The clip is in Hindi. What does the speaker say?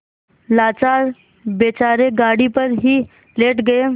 लाचार बेचारे गाड़ी पर ही लेट गये